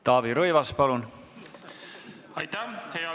Taavi Rõivas, palun!